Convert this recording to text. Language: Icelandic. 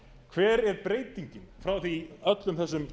hver er breytingin frá því í öllum þessum